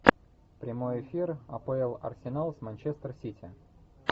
прямой эфир апл арсенал с манчестер сити